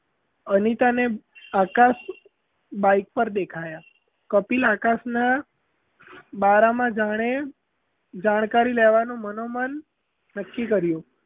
અનિતાને Akash bike પર દેખાયાં કપિલ આકાશનાં બારામાં જાણે જાણકારી લેવાનું મનોમન નક્કી કર્યું.